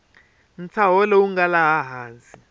ntshaho lowu nga laha hansi